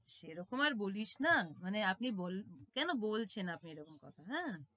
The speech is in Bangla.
সেরকম আর বলিসনা মানে আপনি কেন বলছেন আপনি এরকম কথা হ্যাঁ